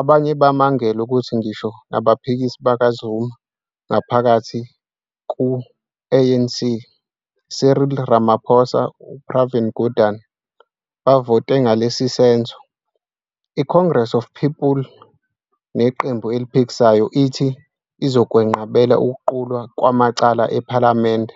Abanye bamangele ukuthi ngisho nabaphikisi bakaZuma ngaphakathi ku-ANC Cyril Ramaphosa, Pravin Gordhan bavote ngalesisenzo. ICongress of the People, neqembu eliphikisayo, ithi izokwenqabela ukuqulwa kwamacala ePhalamende